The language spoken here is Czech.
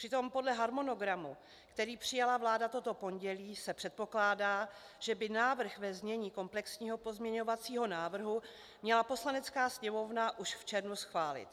Přitom podle harmonogramu, který přijala vláda toto pondělí, se předpokládá, že by návrh ve znění komplexního pozměňovacího návrhu měla Poslanecká sněmovna už v červnu schválit.